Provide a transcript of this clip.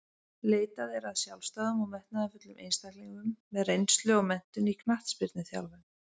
Leitað er að sjálfstæðum og metnaðarfullum einstaklingum með reynslu og menntun í knattspyrnuþjálfun.